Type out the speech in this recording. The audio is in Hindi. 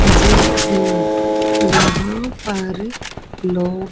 जिम हैं यहां पर लोग--